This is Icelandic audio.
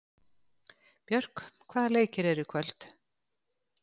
Björk, hvaða leikir eru í kvöld?